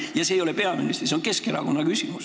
Ja see ei ole peaministri küsimus, see on Keskerakonna küsimus.